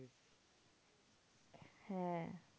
হ্যাঁ